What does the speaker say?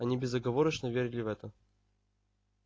они безоговорочно верили в это